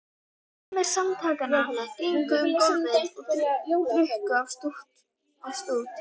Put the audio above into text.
Meðlimir Samtakanna gengu um gólf og drukku af stút.